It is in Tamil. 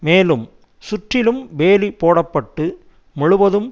மேலும் சுற்றிலும் வேலி போட பட்டு முழுவதும்